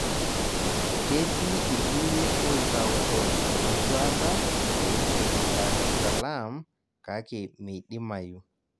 Ketii irkulie oitauto enduata peikeni Dar es salaam kake meidimayu